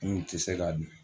N kun tɛ se k'a dun